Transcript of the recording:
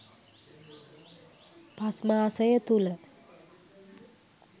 පස් මාසය තුළ